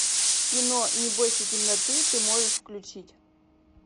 кино не бойся темноты ты можешь включить